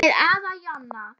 Með afa Jonna.